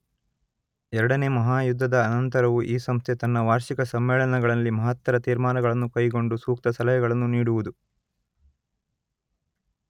ಎರಡನೆಯ ಮಹಾಯುದ್ಧದ ಅನಂತರವೂ ಈ ಸಂಸ್ಥೆ ತನ್ನ ವಾರ್ಷಿಕ ಸಮ್ಮೇಳನಗಳಲ್ಲಿ ಮಹತ್ತರ ತೀರ್ಮಾನಗಳನ್ನು ಕೈಗೊಂಡು ಸೂಕ್ತ ಸಲಹೆಗಳನ್ನು ನೀಡುವುದು